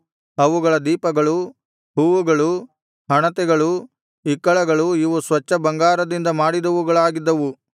ಅವುಗಳ ದೀಪಗಳು ಹೂವುಗಳು ಹಣತೆಗಳು ಇಕ್ಕಳಗಳು ಇವು ಸ್ವಚ್ಛ ಬಂಗಾರದಿಂದ ಮಾಡಿದವುಗಳಾಗಿದ್ದವು